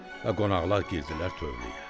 Və qonaqlar girdilər tövləyə.